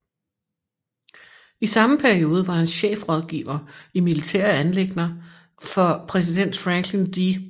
I samme periode var han chefrådgiver i militære anliggender for præsident Franklin D